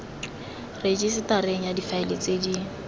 rejisetareng ya difaele tse di